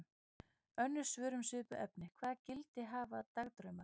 Önnur svör um svipuð efni: Hvaða gildi hafa dagdraumar?